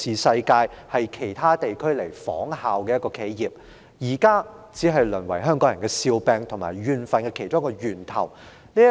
如今這間令其他地區仿效的企業，只淪為香港人的笑柄及其中一個怨憤源頭。